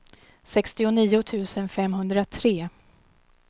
sextionio tusen femhundratre